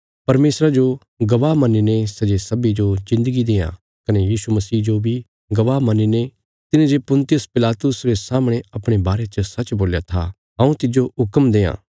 परमेशरा जो गवाह मन्नीने सै जे सब्बीं जो जिन्दगी देआं कने यीशु मसीह जो बी गवाह मन्नीने तिने जे पुन्तियुस पिलातुसा रे सामणे अपणे बारे च सच्च बोल्या था हऊँ तिज्जो हुक्म देआं